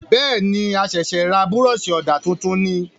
Bẹ́ẹ̀ni,a ṣẹ̀sẹ̀ ra Búrọ̀ṣì ọ̀dà tuntun ni